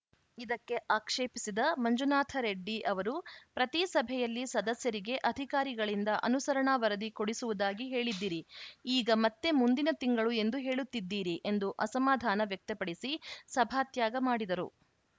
ಇದಕ್ಕೆ ಆಕ್ಷೇಪಿಸಿದ ಮಂಜುನಾಥರೆಡ್ಡಿ ಅವರು ಪ್ರತೀ ಸಭೆಯಲ್ಲಿ ಸದಸ್ಯರಿಗೆ ಅಧಿಕಾರಿಗಳಿಂದ ಅನುಸರಣಾ ವರದಿ ಕೊಡಿಸುವುದಾಗಿ ಹೇಳಿದ್ದಿರಿ ಈಗ ಮತ್ತೆ ಮುಂದಿನ ತಿಂಗಳು ಎಂದು ಹೇಳುತ್ತಿದ್ದೀರಿ ಎಂದು ಅಸಮಾಧಾನ ವ್ಯಕ್ತಪಡಿಸಿ ಸಭಾತ್ಯಾಗ ಮಾಡಿದರು